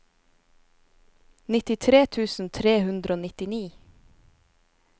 nittitre tusen tre hundre og nittini